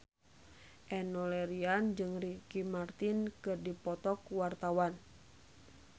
Enno Lerian jeung Ricky Martin keur dipoto ku wartawan